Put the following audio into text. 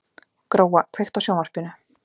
Gróa, kveiktu á sjónvarpinu.